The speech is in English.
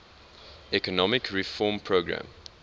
economic reform program